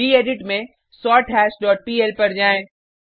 gedit में सोरथाश dot PL पर जाएँ